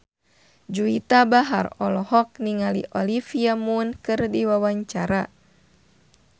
Juwita Bahar olohok ningali Olivia Munn keur diwawancara